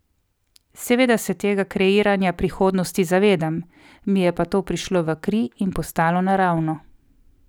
Seveda se tega kreiranja prihodnosti zavedam, mi je pa to prišlo v kri in postalo naravno.